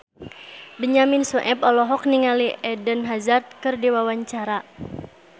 Benyamin Sueb olohok ningali Eden Hazard keur diwawancara